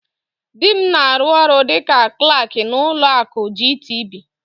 Dị m na-arụ ọrụ dịka Klak n'ụlọ akụ GTB.